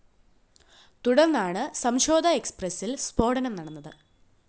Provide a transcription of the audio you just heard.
തുടര്‍ന്നാണ് സംഝോധാ എക്‌സ്പ്രസില്‍ സ്‌ഫോടനം നടന്നത്